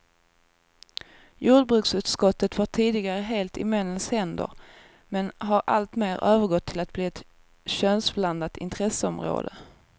Jordbruksutskottet var tidigare helt i männens händer, men har alltmer övergått till att bli ett könsblandat intresseområde.